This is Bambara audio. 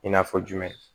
I n'a fɔ jumɛn